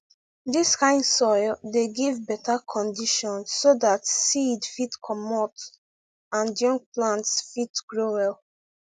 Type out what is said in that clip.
dis kind soil dey give beta condition so dat seed fit comot and young plants fit grow well